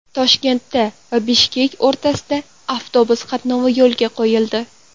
Toshkent va Bishkek o‘rtasida avtobus qatnovi yo‘lga qo‘yildi.